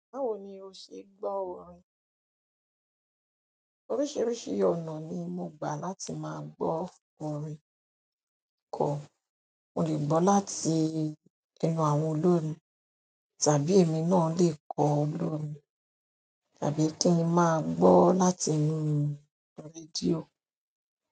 Báwo ni o ṣe gbọ́ orin? Oríṣiríṣi ọ̀nà ni mo gbà láti máa gbọ́ orin kọ. Mo lè gbọ́ láti enú àwọn olórin tàbí èmi náà lè kọ olórin tàbí kí n máa gbọ́ láti inú rédíò.